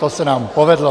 To se nám povedlo.